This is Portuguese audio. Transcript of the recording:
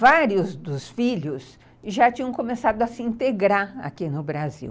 Vários dos filhos já tinham começado a se integrar aqui no Brasil.